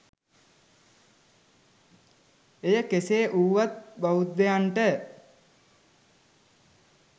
එය කෙසේ වුවත් බෞද්ධයන්ට